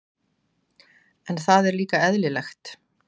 En það er líka eðlilegt.